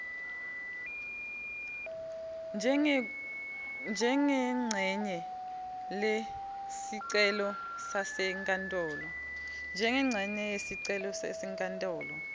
njengencenye kulesicelo sasenkantolo